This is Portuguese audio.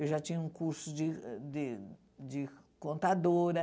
Eu já tinha um curso de de de contadora.